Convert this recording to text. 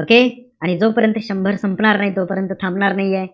Okay? आणि जोपर्यंत शंभर संपणार नाही, तोपर्यंत थांबणार नाहीये.